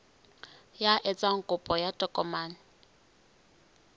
ya etsang kopo ya tokomane